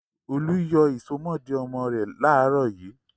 Olú yọ ìsomọ́ọ̀dí ọmọ rẹ̀ láàárọ̀ yìí.